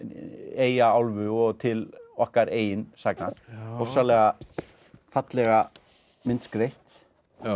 Eyjaálfu og til okkar eigin sagna ofsalega fallega myndskreytt